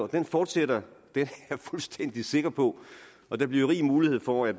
den fortsætter det er jeg fuldstændig sikker på og der bliver rig mulighed for at